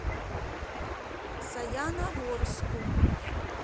саяногорску